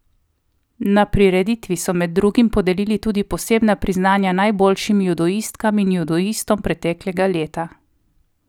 Na prireditvi so med drugim podelili tudi posebna priznanja najboljšim judoistkam in judoistom preteklega leta.